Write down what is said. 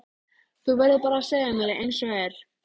Þú verður bara að segja mér einsog er.